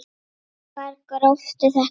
Hvar grófstu þetta upp?